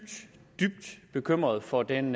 bekymrede for den